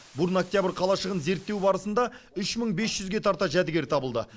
бурно октябрь қалашығын зерттеу барысында үш мың бес жүзге тарта жәдігер табылды